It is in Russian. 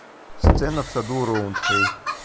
сцена в саду роундхэй